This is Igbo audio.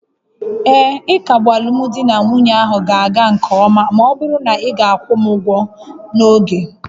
Ee, ịkagbu alụmdi na nwunye ahụ ga-aga nke ọma ma ọ bụrụ na ị ga-akwụ m ụgwọ n'oge